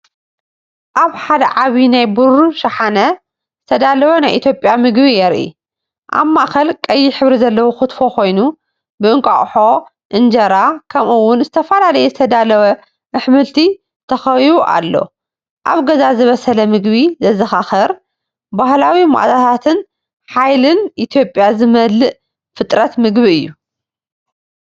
ኣብ ሓደ ዓቢይ ናይ ብሩር ሻሓነ ዝተዳለወ ናይ ኢትዮጵያ ምግቢ የርኢ። ኣብ ማእከል ቀይሕ ሕብሪ ዘለዎ ኪትፎ ኮይኑ፡ብእንቋቑሖ፡ እንጀራ፡ከምኡ’ውን ዝተፈላለየ ዝተዳለወ ኣሕምልቲ ተኸቢቡ ኣሎ። ኣብ ገዛ ዝበሰለ ምግቢ ዘዘኻኽር፣ ባህላዊ መኣዛታትን ሓይልን ኢትዮጵያ ዝመልአ ፍጥረት ምግቢ እዩ።